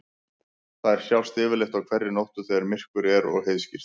Þær sjást yfirleitt á hverri nóttu þegar myrkur er og heiðskírt.